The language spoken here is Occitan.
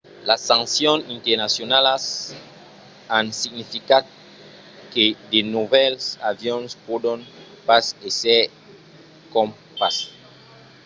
las sancions nternacionalas an significat que de novèls avions pòdon pas èsser crompats